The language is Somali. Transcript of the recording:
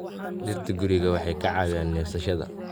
Dhirta guriga waxay ka caawiyaan neefsashada.